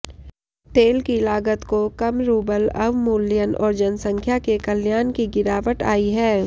तेल की लागत को कम रूबल अवमूल्यन और जनसंख्या के कल्याण की गिरावट आई है